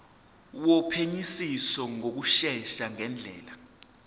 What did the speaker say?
wophenyisiso ngokushesha ngendlela